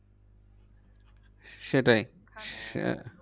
সেটাই এখানে